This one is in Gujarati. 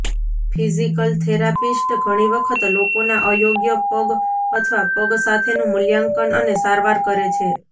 ફિઝીકલ થેરાપિસ્ટ ઘણી વખત લોકોના અયોગ્ય પગ અથવા પગ સાથેનું મૂલ્યાંકન અને સારવાર કરે છે